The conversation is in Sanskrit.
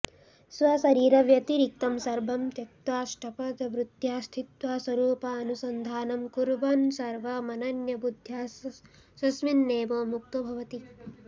स्वशरीरव्यतिरिक्तं सर्वं त्यक्त्वा ष्ट्पदवृत्त्या स्थित्वा स्वरूपानुसन्धानं कुर्वन्सर्वमनन्यबुद्ध्या स्वस्मिन्नेव मुक्तो भवति